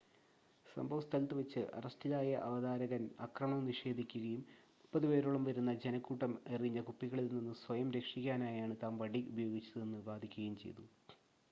സംഭവസ്ഥലത്ത് വെച്ച് അറസ്റ്റിലായ അവതാരകൻ ആക്രമണം നിഷേധിക്കുകയും മുപ്പത് പേരോളം വരുന്ന ജനക്കൂട്ടം എറിഞ്ഞ കുപ്പികളിൽ നിന്ന് സ്വയം രക്ഷിക്കാനായാണ് താൻ വടി ഉപയോഗിച്ചതെന്ന് വാദിക്കുകയും ചെയ്തു